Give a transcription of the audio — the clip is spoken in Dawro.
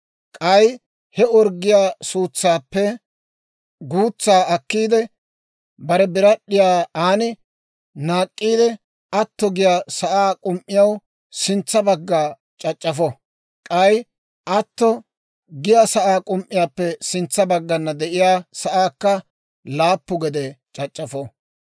K'ay he orggiyaa suutsaappe guutsaa akkiide, bare birad'd'iyaa aan naak'k'iide, atto giyaa sa'aa k'um"iyaw sintsa bagga c'ac'c'afo; k'ay atto giyaa sa'aa k'um"iyaappe sintsa baggana de'iyaa sa'aakka laappu gede c'ac'c'afo.